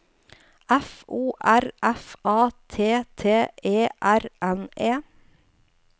F O R F A T T E R N E